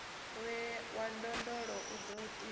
wa ndondolo u do tiwa